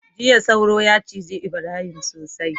jiya sauro ya ciji Ibrahim sosai